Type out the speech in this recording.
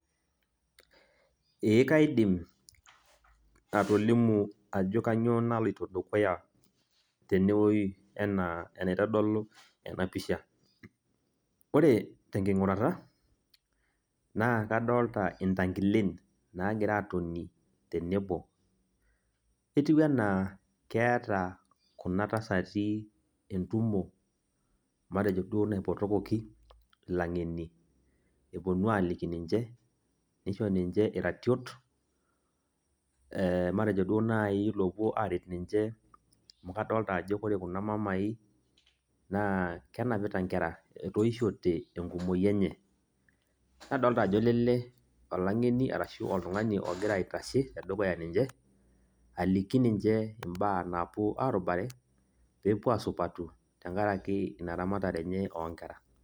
Ee kaidim, atolimu ajo kanyioo naloito dukuya tenewoi, enaa enaitodolu enapisha. Ore tenking'urata, naa kadolta intankilen, nagira atoni tenebo. Etiu enaa keeta kuna tasati entumo, matejo duo naipotokoki ilang'eni, eponu aliki ninche, nisho ninche iratiot, matejo duo nai lopuo aret ninche. Amu kadolta ajo ore kuna mamai, naa kenapita nkera. Etoishote enkumoyu enye. Nadolta ajo lele, olang'eni arashu oltung'ani ogira aitashe tedukuya ninche, aliki ninche imbaa naapuo arubare, pepuo asupatu, tenkaraki ina ramatare enye oonkera.